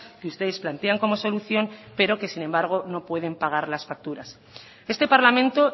que ustedes plantean como solución pero que sin embargo no pueden pagar las facturas este parlamento